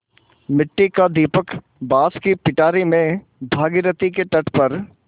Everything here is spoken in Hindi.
मिट्टी का दीपक बाँस की पिटारी में भागीरथी के तट पर